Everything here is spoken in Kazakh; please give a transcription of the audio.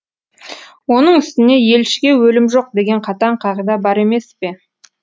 оның үстіне елшіге өлім жоқ деген қатаң қағида бар емес пе